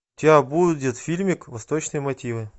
у тебя будет фильмик восточные мотивы